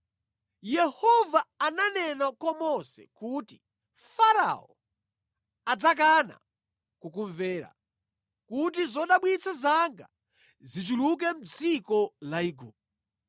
Yehova ananena kwa Mose kuti, “Farao adzakana kukumvera, kuti zodabwitsa zanga zichuluke mʼdziko la Igupto.”